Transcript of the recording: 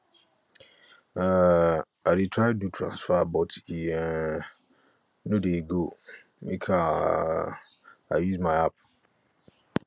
um i dey try do transfer but e um no dey go go make um i use my app